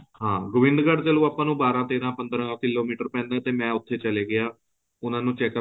ਹਾਂ ਗੋਬਿੰਦਗਢ਼ ਚੱਲੋ ਆਪਾਂ ਨੂੰ ਬਾਰਹ ਤੇਰ੍ਹਾ ਪੰਦਰਾ ਕਿਲੋਮੀਟਰ ਪੈਂਦਾ ਤੇ ਮੈਂ ਉੱਥੇ ਚਲਾ ਗਿਆ ਉਹਾਂ ਨੂੰ checkup